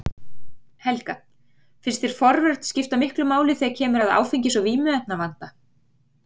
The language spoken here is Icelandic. Helga: Finnst þér forvörn skipta miklu máli þegar kemur að áfengis- og vímuefnavanda?